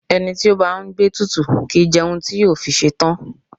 Ẹni tí ó bá ń gbé ètùtù kì í jẹun títí yóò fi ṣetán.